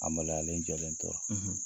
A maloyalen jɔlen tora.